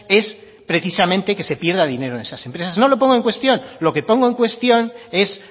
es precisamente que se pierda dinero en esas empresas no lo pongo en cuestión lo que pongo en cuestión es